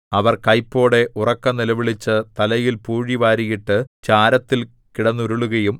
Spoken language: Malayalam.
അവർ കൈപ്പോടെ ഉറക്കെ നിലവിളിച്ച് തലയിൽ പൂഴി വാരിയിട്ട് ചാരത്തിൽ കിടന്നുരുളുകയും